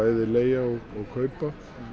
leigja eða kaupa